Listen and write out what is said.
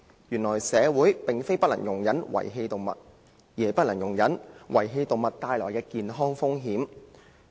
由此可見，社會不能容忍的並非遺棄動物，而是被遺棄動物所帶來的健康風險。